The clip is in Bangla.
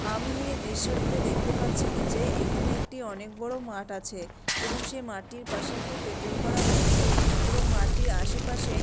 আমি এ দৃশ্যটিতে দেখতে পাচ্ছি কি যে এখানে একটি অনেক বড় মাঠ আছে এবং সেই মাঠটির পাশে একটি প্যান্ডেল করা হয়েছে এবং মাঠটির আশেপাশে --